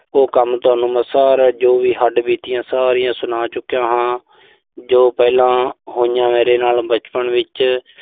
ਉਹ ਕੰਮ ਮੈਂ ਤੁਹਾਨੂੰ ਸਾਰੇ, ਜੋ ਵੀ ਹੱਡਬੀਤੀਆਂ ਸਾਰੀਆਂ ਸੁਣਾ ਚੁੱਕਿਆ ਹਾਂ, ਜੋ ਪਹਿਲਾਂ ਹੋਈਆਂ ਮੇਰੇ ਨਾਲ ਬਚਪਨ ਵਿੱਚ